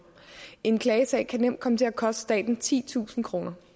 en klagesag kan nemt komme til at koste staten titusind kroner